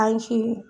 An si